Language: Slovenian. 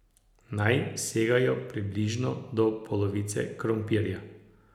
Naj segajo približno do polovice krompirja.